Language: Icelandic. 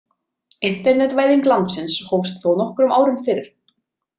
Internetvæðing landsins hófst þó nokkrum árum fyrr.